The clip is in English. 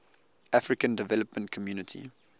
african development community